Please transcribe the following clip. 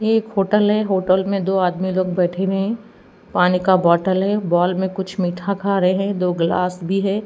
ये एक होटल है होटल में दो आदमी लोग बैठे हुए हैं पानी का बोटल है बॉल में कुछ मीठा खा रहे हैं दो ग्लास भी है।